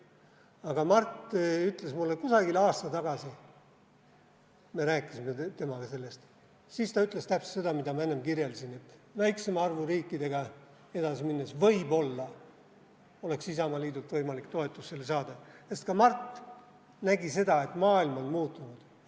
Aga Mart ütles mulle kusagil aasta tagasi – me rääkisime temaga sellest ja siis ta ütles täpselt seda, mida ma enne kirjeldasin –, et väiksema arvu riikidega edasi minnes võib-olla oleks Isamaaliidult võimalik sellele toetust saada, sest ka Mart nägi, et maailm on muutunud.